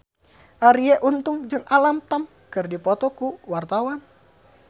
Arie Untung jeung Alam Tam keur dipoto ku wartawan